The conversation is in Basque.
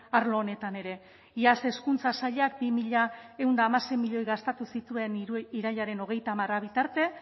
arlo honetan ere iaz hezkuntza sailak bi mila ehun eta hamasei milioi gastatu zituen irailaren hogeita hamar bitarte